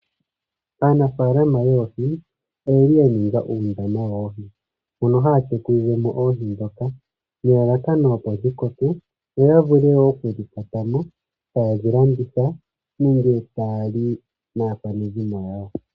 Aanafalama yoohi oyeli yaninga uundama wawo mona haya tekulilemo oohi dhoka nelalakano opi dhi koke, yo ya vule okudhi kwatamo, tayedhi landitha nenge taya li naakwanezimo yawo.